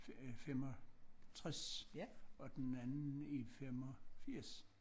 65 og den anden i 85